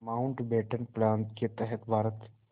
Mountbatten plan के तहत भारत